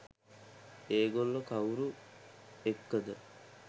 ඒ ගොල්ලෝ කවුරු එක්කද